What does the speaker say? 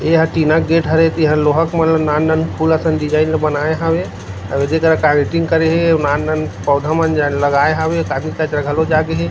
ये हा टीना गेट हरे तिहा लोहा के मन ला नान-नान फूल असन डिज़ाइन ला बनाये हावे आऊ ये दे जगह कार्वेटिंग करे हे आऊ नान-नान पौधा मन लगाए हावे काजू पेड़ घलोक जागे हे।